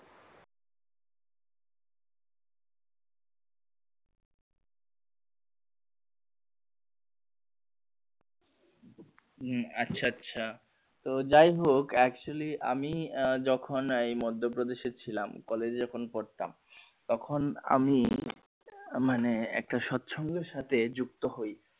হম আচ্ছা আচ্ছা তো যাইহোক actually আমি আহ যখন এই মধ্যপ্রদেশে ছিলাম কলেজে যখন পড়তাম তখন আমি মানে একটা সৎ সঙ্গের সাথে যুক্ত হই